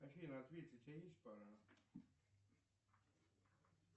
афина ответь у тебя есть пара